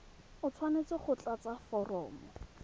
o tshwanetse go tlatsa foromo